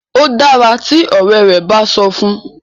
o dára tí òré rẹ bá sọ fún.